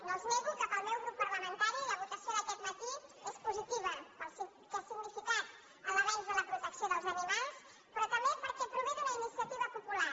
no els nego que per al meu grup parlamentari la votació d’aquest matí és positiva perquè ha significat l’avenç en la protecció dels animals però també perquè prové d’una iniciativa popular